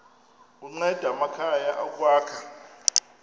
kunceda amakhaya ukwakha